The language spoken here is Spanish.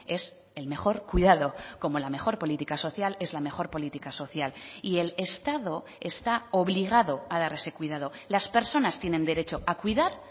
es el mejor cuidado como la mejor política social es la mejor política social y el estado está obligado a dar ese cuidado las personas tienen derecho a cuidar